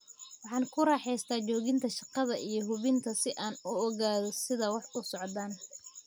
Waxaan ku raaxaystaa joogida shaqada iyo hubinta si aan u ogaado sida wax u socdaan.